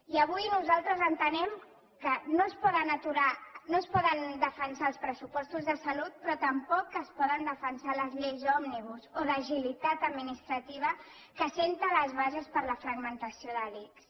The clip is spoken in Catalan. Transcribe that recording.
i avui nosaltres entenem que no es poden defensar els pressupostos de salut però tampoc es poden defensar les lleis òmnibus o d’agilitat administrativa que posen les bases per a la fragmentació de l’ics